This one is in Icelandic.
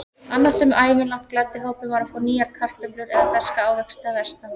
Annað sem ævinlega gladdi hópinn var að fá nýjar kartöflur eða ferska ávexti að vestan.